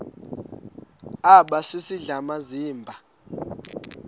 aba sisidl amazimba